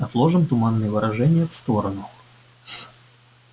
отложим туманные выражения в сторону